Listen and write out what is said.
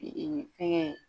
fɛngɛ